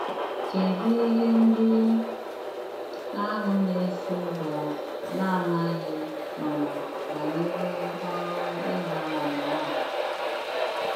Kedụ ihe ndị ahụ na - eso ụzọ na - amaghị um banyere ọrụ ịgba àmà ahụ?